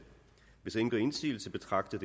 hvis ingen gør indsigelse betragter